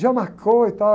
Já marcou e tal.